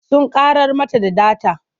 Sun ƙarar mana da data.